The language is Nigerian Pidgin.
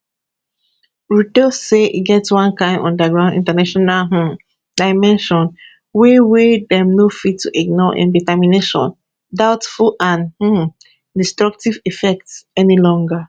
ruto say e get one kain underground international um dimension wey wey dem no fit to ignore im determination doubtful and um destructive effects any longer